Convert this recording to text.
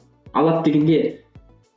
алады деген не